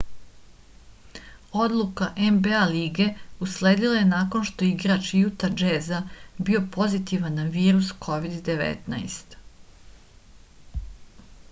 odluka nba lige usledila je nakon što je igrač juta džeza bio pozitivan na virus covid-19